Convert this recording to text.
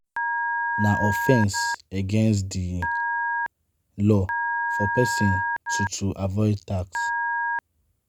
Na offense against di law for person to to avoid tax